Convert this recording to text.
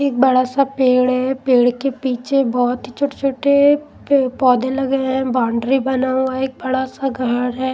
एक बड़ा सा पेड़ है पेड़ के पीछे बहुत ही छोटे-छोटे पौधे लगे हैं बाउंड्री बना हुआ है एक बड़ा सा घर है.